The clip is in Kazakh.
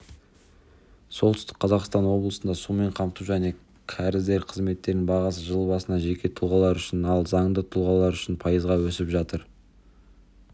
солтүстік қазақстан облысында сумен қамту және кәріздер қызметтерінің бағасы жыл басынан жеке тұлғалар үшін ал заңды тұлғалар үшін пайызға өсіп отыр